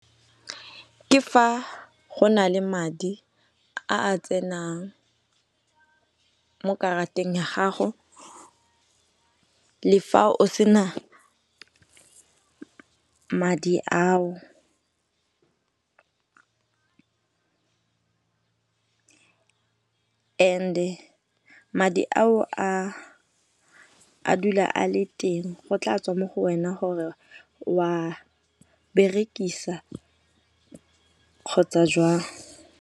Ke fa go na le madi a a tsenang mo karateng ya gago le fa o sena madi ao. And-e madi ao a dula a le teng go tla tswa mo go wena gore wa berekisa kgotsa jwang.